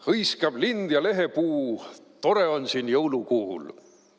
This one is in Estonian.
Hõiskab lind ja lehepuu: "Tore on siin jõulukuul!